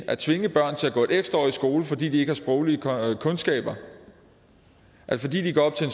at tvinge børn til at gå et ekstra år i skole fordi de ikke har sproglige kundskaber fordi de går op til